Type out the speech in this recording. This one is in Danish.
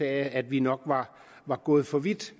at vi nok var var gået for vidt